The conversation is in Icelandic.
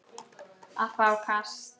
að fá kast